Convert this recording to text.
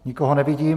Nikoho nevidím.